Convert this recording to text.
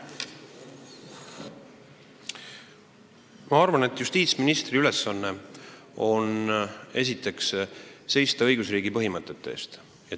Ma arvan, et justiitsministri ülesanne on esiteks seista õigusriigi põhimõtete eest.